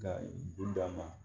Ka u d'a ma